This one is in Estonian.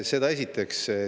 Seda esiteks.